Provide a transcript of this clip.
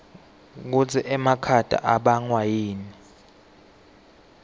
kutsi emakhata ibangwayini